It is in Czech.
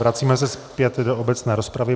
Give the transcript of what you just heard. Vracíme se zpět do obecné rozpravy.